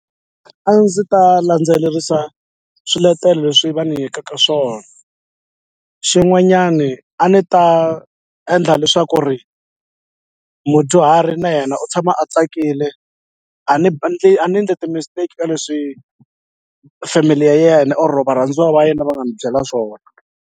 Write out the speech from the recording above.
A ndzi ta landzelerisa swiletelo leswi va ni nyikaka swona xin'wanyani a ni ta endla leswaku ri mudyuharhi na yena u tshama a tsakile a ni a ni nge ti-mistake ka leswi family ya yena or varhandziwa va yena va nga ndzi byela swona.